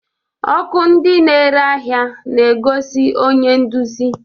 Ọkụ ndị na-ere ahịa na-egosi onye nduzi